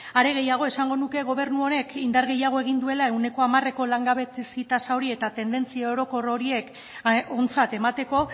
are gehiago esango nuke gobernu honek indar gehiago egin duela ehuneko hamareko langabezi tasa hori eta tendentzia orokor horiek ontzat emateko